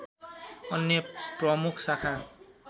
अन्य प्रमुख शाखा